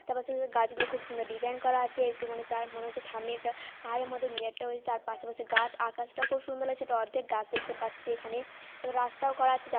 রাস্তার পাশে পাশে গাছগুলো খুব সুন্দর ডিজাইন করা আছে একটুখানি তার মনে হচ্ছে থামে একটা পাহাড়ের মতো মিনারটা হয়েছে তার পাশে পাশে গাছ আকাশটা খুব সুন্দর লাগছে একটা অর্ধেক গাছ দেখতে পাচ্ছি এখানে তারপর রাস্তাও করা আছে। যা --